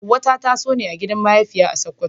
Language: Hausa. Hawwa ta taso ne a gidan mahaifiya a Sakkwato.